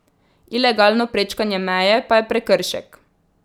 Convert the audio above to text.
Ilegalno prečkanje meje pa je prekršek.